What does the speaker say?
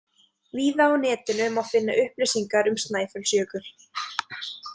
Víða á netinu má finna upplýsingar um Snæfellsjökul.